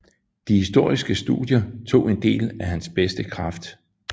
De historiske studier tog en del af hans bedste kraft